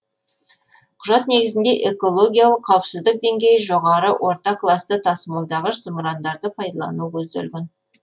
құжат негізінде экологиялық қауіпсіздік деңгейі жоғары орта класты тасымалдағыш зымырандарды пайдалану көзделген